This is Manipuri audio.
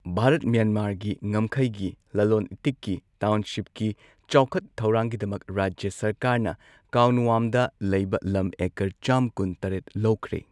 ꯚꯥꯔꯠ ꯃ꯭ꯌꯥꯟꯃꯥꯔꯒꯤ ꯉꯝꯈꯩꯒꯤ ꯂꯂꯣꯟ ꯏꯇꯤꯛꯀꯤ ꯇꯥꯎꯟꯁꯤꯞꯀꯤ ꯆꯥꯎꯈꯠ ꯊꯧꯔꯥꯡꯒꯤꯗꯃꯛ ꯔꯥꯖ꯭ꯌ ꯁꯔꯀꯥꯔꯅ ꯀꯥꯎꯟꯋꯥꯝꯗ ꯂꯩꯕ ꯂꯝ ꯑꯦꯀꯔ ꯆꯥꯝ ꯀꯨꯟ ꯇꯔꯦꯠ ꯂꯧꯈ꯭ꯔꯦ꯫